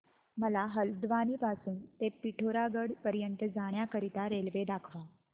मला हलद्वानी पासून ते पिठोरागढ पर्यंत जाण्या करीता रेल्वे दाखवा